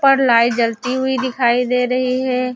पर लाइट जलती हुई दिखाई दे रही है।